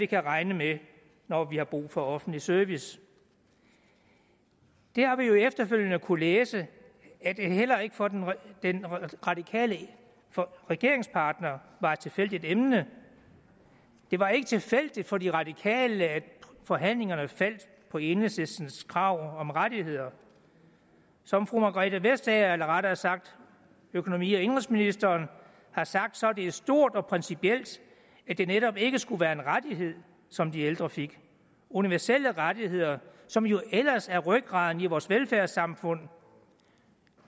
kan regne med når vi har brug for offentlig service vi har jo efterfølgende kunnet læse at det heller ikke for den den radikale regeringspartner var det et tilfældigt emne det var ikke tilfældigt for de radikale at forhandlingerne faldt på enhedslistens krav om rettigheder som fru margrethe vestager eller rettere sagt økonomi og indenrigsministeren har sagt så var det stort og principielt at det netop ikke skulle være en rettighed som de ældre fik universelle rettigheder som jo ellers er rygraden i vores velfærdssamfund